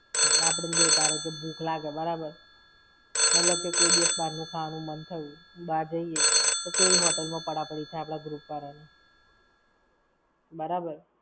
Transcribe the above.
આપણે જોયું ધારોકે કે ભૂખ લાગે બરાબર. મતલબ કે કોઈ દિવસ બાર ની ખાવાનું મન થયું, બાર જઈએ તો કેવી hotel માં પડ઼ા પડી થાય આપણા group વાળા ની. બરાબર.